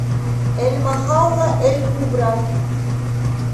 эль махалла эль кубра